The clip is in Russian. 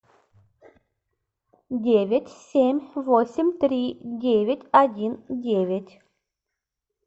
девять семь восемь три девять один девять